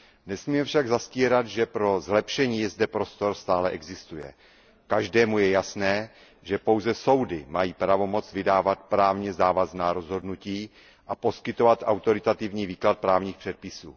Nesmíme však zastírat, že pro zlepšení zde prostor stále existuje. Každému je jasné, že pouze soudy mají pravomoc vydávat právně závazná rozhodnutí a poskytovat autoritativní výklad právních předpisů.